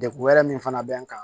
Degun wɛrɛ min fana bɛ n kan